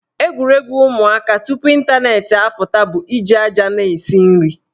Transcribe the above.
Egwuregwu ụmụaka tupu ịntanetị apụta bụ iji aja na-esi nri.